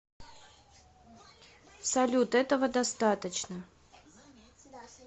салют этого достаточно